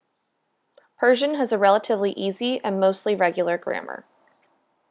persian has a relatively easy and mostly regular grammar